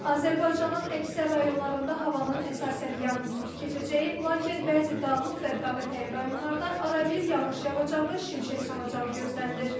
Azərbaycanın əksər rayonlarında havanın əsasən yağmursuz keçəcəyi, lakin bəzi dağlıq və dağətəyi rayonlarda arabir yağış yağacağı, şimşək çaxacağı gözlənilir.